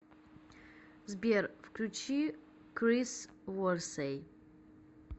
сбер включи крис ворсей